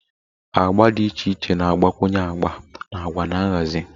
agba dị iche iche na-agbakwunye agba na agwa na nhazi